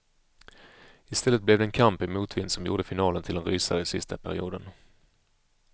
I stället blev det en kamp i motvind som gjorde finalen till en rysare i sista perioden.